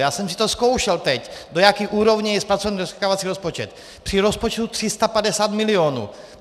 Já jsem si to zkoušel teď, do jaké úrovně je zpracován rozklikávací rozpočet při rozpočtu 350 milionů.